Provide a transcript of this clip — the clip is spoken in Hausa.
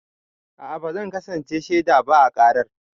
A'a ba zan kasance shaida ba a karar.